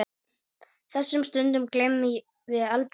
Þessum stundum gleymum við aldrei.